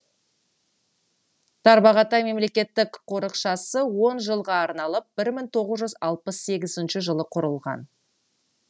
тарбағатай мемлекеттік қорықшасы он жылға арналып бір мың тоғыз жүз алпыс сегізінші жылы құрылған